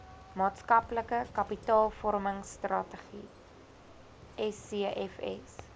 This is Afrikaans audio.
maatskaplike kapitaalvormingstrategie scfs